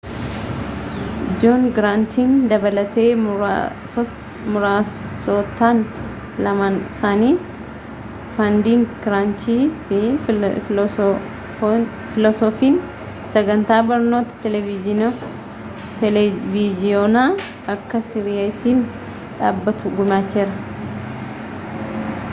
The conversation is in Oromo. joon giraantiin dabalatee muraasotaan lamaan isaaanii fandiing kiraanchii fi filoosoofiin sagantaa barnootaa televiiziyoonaa akka siiriyesiin dhaabbatu gumaacheera